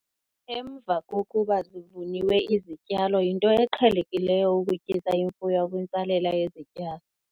Emva kokuba zivuniwe izityalo, yinto eqhelekileyo ukutyisa imfuyo kwintsalela yezityalo.